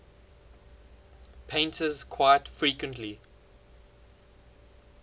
painters quite frequently